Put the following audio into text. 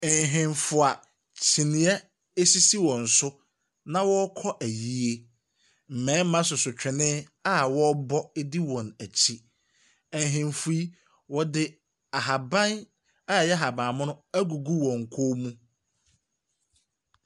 Ahemfo a kyiniiɛ sisi wɔn so na wɔrekɔ ayie. Mmarima soso twene a wɔrebɔ di wɔn akyi. Ahemfo yi, wɔde ahaban a ɛyɛ ahabammono agugu wɔn kɔn mu.